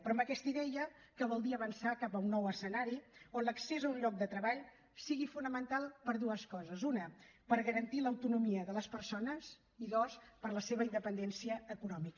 però amb aquesta idea que vol dir avançar cap a un nou escenari on l’accés a un lloc de treball sigui fonamental per a dues coses una per garantir l’autonomia de les persones i dues per la seva independència econòmica